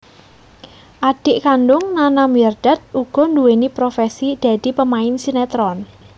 Adhik kandung Nana Mirdad uga nduweni profesi dadi pemain sinetron